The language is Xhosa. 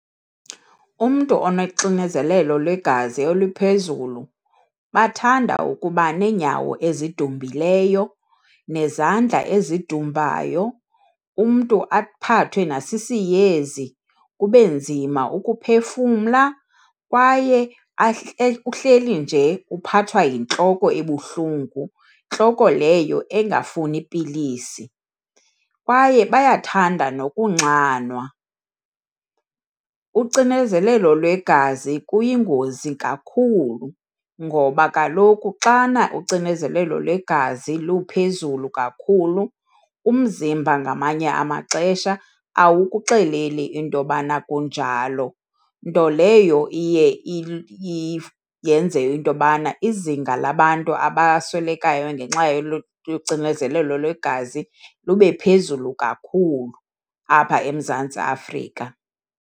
Umntu onexinezelelo lwegazi oliphezulu bathanda ukuba neenyawo ezidumbileyo, nezandla ezidumbayo, umntu aphathwe nasisiyezi kube nzima ukuphefumla kwaye uhleli nje uphathwa yintloko ebuhlungu, ntloko leyo engafuni pilisi. Kwaye bayathanda nokunxanwa. Ucinezelelo lwegazi kuyingozi kakhulu ngoba kaloku xana ucinezelelo lwegazi luphezulu kakhulu, umzimba ngamanye amaxesha awukuxeleli into yobana kunjalo, nto leyo iye yenze into yobana izinga labantu abaswelekayo ngenxa yocinezelelo lwegazi lube phezulu kakhulu apha eMzantsi Afrika.